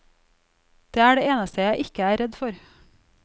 Det er det eneste jeg ikke er redd for.